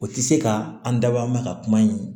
O tɛ se ka an dabɔ a kama ka kuma in